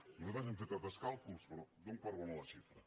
nosaltres hem fet altres càlculs però dono per bona la xifra